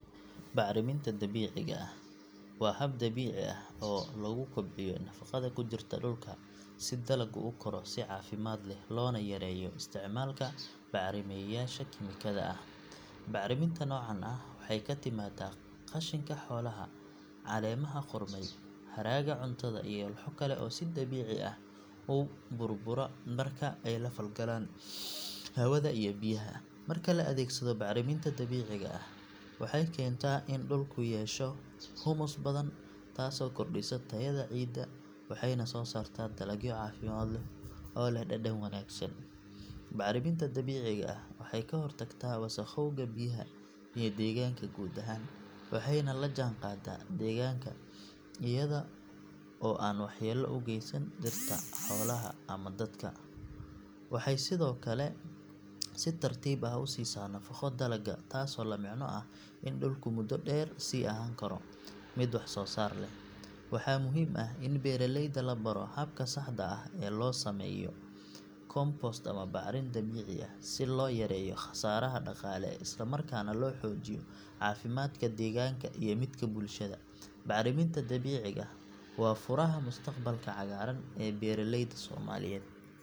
Bacriminta dabiiciga ah waa hab dabiici ah oo lagu kobciyo nafaqada ku jirta dhulka si dalaggu u koro si caafimaad leh loona yareeyo isticmaalka bacrimiyeyaasha kiimikada ah. Bacriminta noocan ah waxay ka timaadaa qashinka xoolaha, caleemaha qudhmay, hadhaaga cuntada iyo walxo kale oo si dabiici ah u burbura marka ay la falgalaan hawada iyo biyaha. Marka la adeegsado bacriminta dabiiciga ah waxay keentaa in dhulku yeesho humus badan taasoo kordhisa tayada ciidda waxayna soo saartaa dalagyo caafimaad leh oo leh dhadhan wanaagsan. Bacriminta dabiiciga ah waxay ka hortagtaa wasakhowga biyaha iyo deegaanka guud ahaan waxayna la jaanqaadaa deegaanka iyada oo aan waxyeello u geysan dhirta, xoolaha ama dadka. Waxay sidoo kale si tartiib ah u siisaa nafaqo dalagga, taasoo la micno ah in dhulku muddo dheer sii ahaan karo mid wax soo saar leh. Waxaa muhiim ah in beeraleyda la baro habka saxda ah ee loo sameeyo compost ama bacrimin dabiici ah si loo yareeyo khasaaraha dhaqaale isla markaana loo xoojiyo caafimaadka deegaanka iyo midka bulshada. Bacriminta dabiiciga ah waa furaha mustaqbalka cagaaran ee beeralayda Soomaaliyeed.